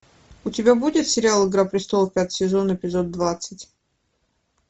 у тебя будет сериал игра престолов пятый сезон эпизод двадцать